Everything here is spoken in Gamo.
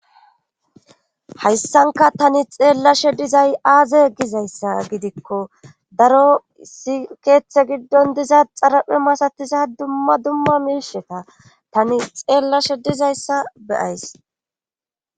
hayssanka tani xeellashe dizay aaze gizayssa gidikkodaro issi keeththe giddon diza xaraphe masatiza dumma dumma miisheta tani xeellashe dizayssa beyays